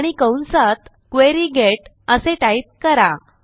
आणि कंसात query get असे टाईप करा